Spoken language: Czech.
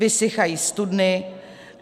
Vysychají studny.